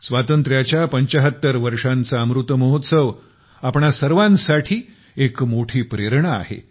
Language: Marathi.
स्वातंत्र्याच्या 75 वर्षांचा अमृतमहोत्सव आपणा सर्वांसाठी एक मोठी प्रेरणा आहे